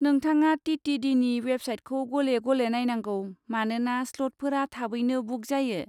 नोंथाङा टि.टि.डि.नि वेबसाइटखौ गले गले नायनांगौ, मानोना स्लटफोरा थाबैनो बुक जायो।